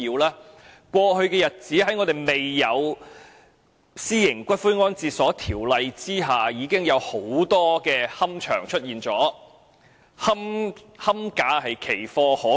當局尚未向立法會提交《私營骨灰安置所條例草案》前，已出現很多骨灰安置所，龕位更是奇貨可居。